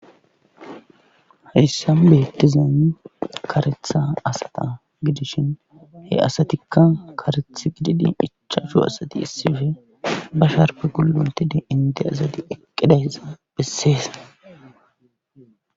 Hayssan beettizen karetha asata gidishin he asatikka kareth gididi ichaashu asati issife ba sharpe gulluntidi inte asadi eqqidayssa bessees.